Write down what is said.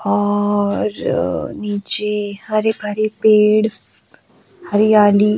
और नीचे हरे भरी पेड़ हरियाली।